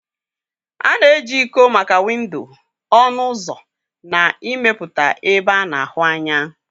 A na-eji iko maka windo, ọnụ ụzọ na ịmepụta ebe a na-ahụ anya.